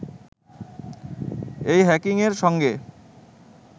এই হ্যাকিংয়ের সঙ্গে